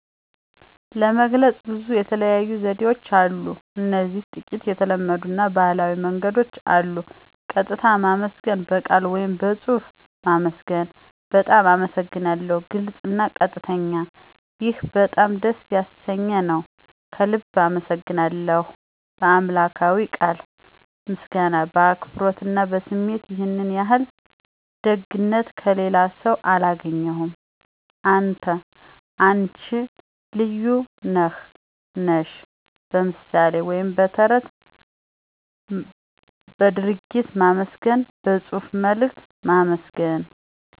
ለመግለጽ ብዙ የተለያዩ ዘዴዎችን አሉ እዚህ ጥቂት የተለመዱ አና ባህላዊ መንገዶች አሉ። ቀጥታ ማመስገን (በቃል ወይም በጽሑፍ ማመስገን ) "በጣም አመሰግናለሁ "(ግልጽ አና ቀጥተኛ ) "ይህ በጣም ደስ ያሰኘኝ ነው። ከልቤ አመሰግናለሁ ;" "በአምላክዊ ቃል ምስጋና በአክብሮት አና በስሜት"ይህን ያህል ደግነት ከሌላስው አላገኘሁም። አንተ /አነች ልዩ ነህ /ነሽ ;" በምሣሌ ወይም በተረት በድርጊት ማመስገን በጽሑፍ መልእክት ማመስገን